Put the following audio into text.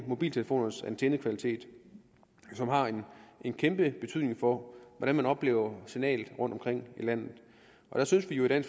mobiltelefonernes antennekvalitet som har en kæmpe betydning for hvordan man oplever signalet rundtomkring i landet der synes vi jo i